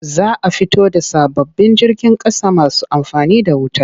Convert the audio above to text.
Za a fito da sababbin jirgin ƙasa masu amfani da wuta.